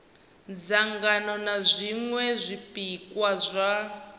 dzangano na zwiṅwe zwipikwa zwa